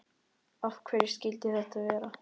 Af hverju skyldi þetta vera?